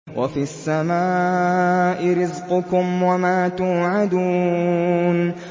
وَفِي السَّمَاءِ رِزْقُكُمْ وَمَا تُوعَدُونَ